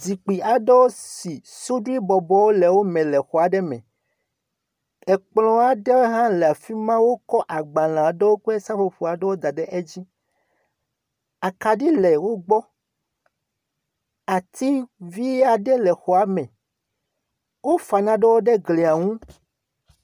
Zikpui aɖewo si suɖui bɔbɔwo le wo me le xɔ aɖe me. Ekplɔ aɖe hã afi ma wokɔ agbalẽ aɖewo kple seƒoƒowo da edzi. Akaɖi le wo gbɔ, ati vi aɖe le xɔa me, wofa naɖewo ɖe glia ŋu.